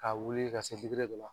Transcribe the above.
Ka wele ka se dɔ la.